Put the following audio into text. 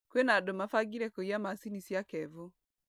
Kwĩna andũ mabangire kũiya macini cia Kevo.